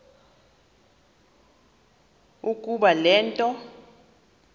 ukuba le nto